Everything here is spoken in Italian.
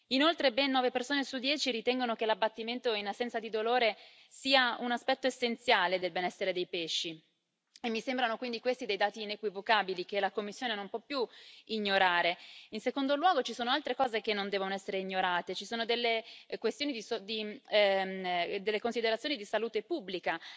Inoltre ben nove persone su dieci ritengono che l'abbattimento in assenza di dolore sia un aspetto essenziale del benessere dei pesci e quindi questi mi sembrano dei dati inequivocabili che la Commissione non può più ignorare. In secondo luogo, ci sono altre cose che non devono essere ignorate ci sono delle considerazioni di salute pubblica.